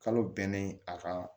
Kalo bɛnnen a ka